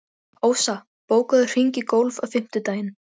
Ósa, bókaðu hring í golf á fimmtudaginn.